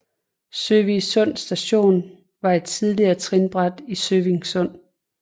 Søvig Sund Station var et tidligere trinbræt i Søvig Sund